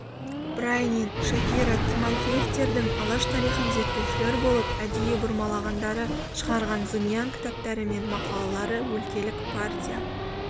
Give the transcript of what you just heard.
брайнин шафиро тимофеевтердің алаш тарихын зерттеушілер болып әдейі бұрмалағандары шығарған зымиян кітаптары мен мақалалары өлкелік партия